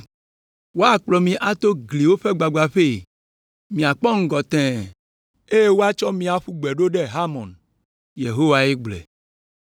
Woakplɔ mi ato gliwo ƒe gbagbãƒee, miakpɔ ŋgɔ tẽe, eye woatsɔ mi aƒu gbe ɖo ɖe Harmon.” Yehowae gblɔe.